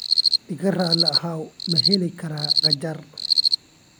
Iga raali ahow, ma heli karaa qajaar?